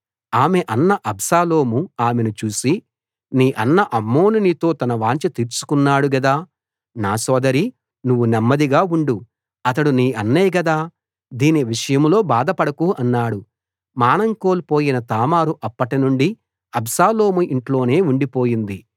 ఆమె అన్న అబ్షాలోము ఆమెను చూసి నీ అన్న అమ్నోను నీతో తన వాంఛ తీర్చుకున్నాడు గదా నా సోదరీ నువ్వు నెమ్మదిగా ఉండు అతడు నీ అన్నే గదా దీని విషయంలో బాధపడకు అన్నాడు మానం కోల్పోయిన తామారు అప్పటినుండి అబ్షాలోము ఇంట్లోనే ఉండిపోయింది